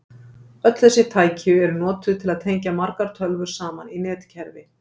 Öll þessi tæki eru notuð til að tengja margar tölvur saman í netkerfi.